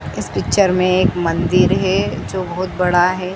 इस पिक्चर में एक मंदिर हैं जो बहोत बड़ा हैं।